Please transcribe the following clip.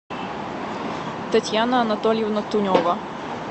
татьяна анатольевна тунева